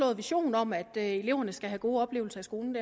vision om at eleverne skal have gode oplevelser i skolen